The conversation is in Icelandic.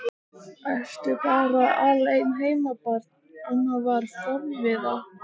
Ertu bara alein heima barn? amma var forviða.